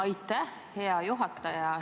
Aitäh, hea juhataja!